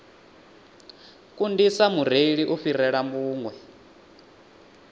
kundisa mureili u fhirela vhuṅwe